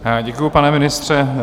Děkuji, pane ministře.